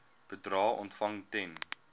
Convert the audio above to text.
bedrae ontvang ten